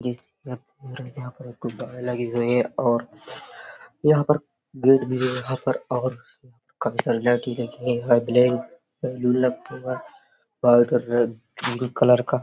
लगी गई है और यहाँ पर गेट भी है| यहाँ पर और काफी सारी लड़की बैठी है और कलर का --